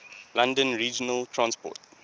london regional transport